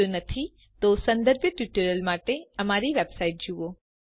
જો નથી તો સંદર્ભીત ટ્યુટોરીયલો માટે અમારી વેબસાઈટની જુઓ